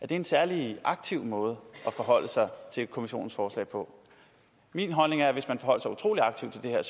det en særlig aktiv måde at forholde sig til kommissionens forslag på min holdning er at hvis man forholdt sig utrolig aktivt til det her